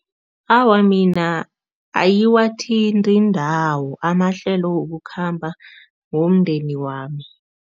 Awa, mina ayiwathinti ndawo amahlelo wokukhamba womndeni wami.